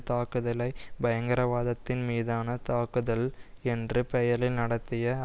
தாக்குதலை பயங்கரவாதத்தின் மீதான தாக்குதல் என்ற பெயரில் நடத்திய